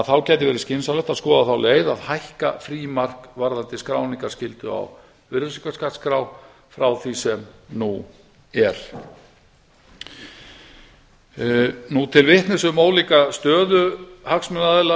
þá gæti verið skynsamlegt að skoða á leið að hækka frímark varðandi skráningarskyldu á virðisaukaskattsskrá frá því sem nú er til vitnis um ólíka stöðu hagsmunaaðila